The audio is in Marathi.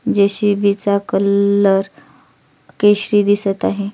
जे.सी.बी. चा कलर केशरी दिसत आहे.